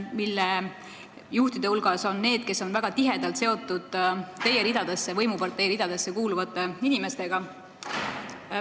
Nende juhtide hulgas on neid, kes on väga tihedalt seotud teie võimupartei ridadesse kuuluvate inimestega.